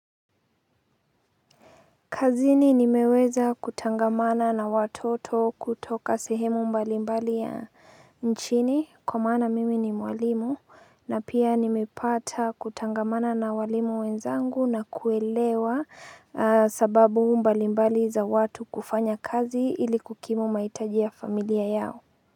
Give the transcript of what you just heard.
Kazini nimeweza kutangamana na watoto kutoka sehemu mbalimbali ya nchini kwa maana mimi ni mwalimu na pia nimepata kutangamana na walimu wenzangu na kuelewa sababu mbalimbali za watu kufanya kazi ili kukimu mahitajia familia yao.